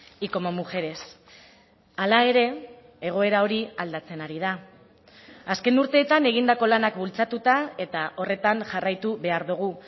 y como mujeres hala ere egoera hori aldatzen ari da azken urteetan egindako lanak bultzatuta eta horretan jarraitu behar dugu